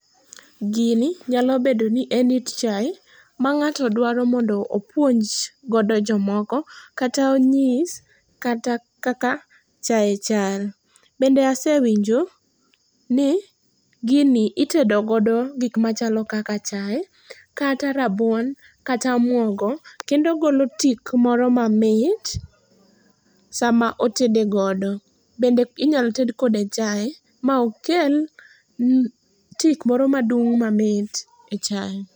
Gini nyalo bedo ni en it chae, mang'ato dwaro mondo opuonj godo jomoko, kata onyis kata kaka chae chal. Bende asewinjo ni gini itedo godo gik machalo kaka chae kata rabuon kata omwogo kendo ogolo tik moro mamit sama otede godo. Bende inyalo ted kode chae maokel mm tik moro madung' mamit e chae.